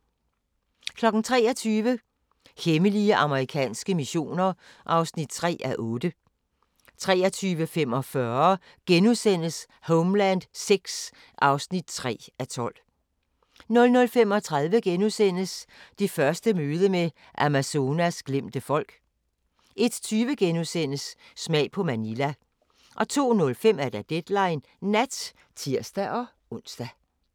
23:00: Hemmelige amerikanske missioner (3:8) 23:45: Homeland VI (3:12)* 00:35: Det første møde med Amazonas glemte folk * 01:20: Smag på Manila * 02:05: Deadline Nat (tir-ons)